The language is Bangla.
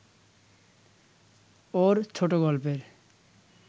ওর ছোটগল্পের